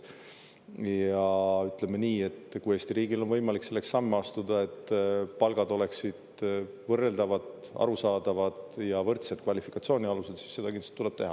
Ja ütleme nii, et kui Eesti riigil on võimalik selleks samme astuda, et palgad oleksid võrreldavad, arusaadavad ja võrdsed kvalifikatsiooni alusel, siis seda kindlasti tuleb teha.